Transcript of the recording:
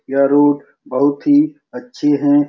यह रोड बहुत ही अच्छे है।